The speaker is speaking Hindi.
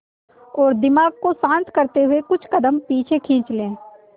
और दिमाग को शांत करते हुए कुछ कदम पीछे खींच लें